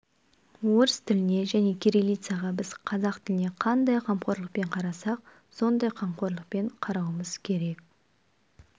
орыс тіліне және кириллицаға біз қазақ тіліне қандай қамқорлықпен қарасақ сондай қамқорлықпен қарауымыз керек